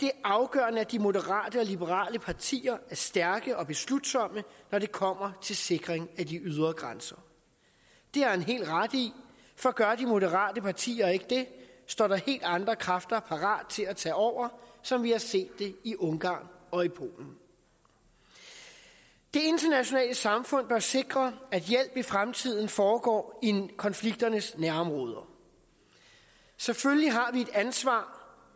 er afgørende at de moderate og liberale partier er stærke og beslutsomme når det kommer til en sikring af de ydre grænser det har han helt ret i for gør de moderate partier ikke det står der helt andre kræfter parat til at tage over som vi har set det i ungarn og i polen det internationale samfund bør sikre at hjælpen i fremtiden foregår i konflikternes nærområder selvfølgelig har vi et ansvar